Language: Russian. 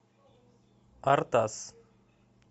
артас